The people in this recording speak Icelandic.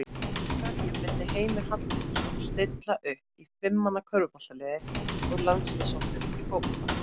Hverjum myndi Heimir Hallgrímsson stilla upp í fimm manna körfuboltaliði úr landsliðshópnum í fótbolta?